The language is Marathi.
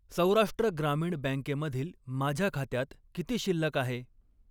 सौराष्ट्र ग्रामीण बँकेमधील माझ्या खात्यात किती शिल्लक आहे?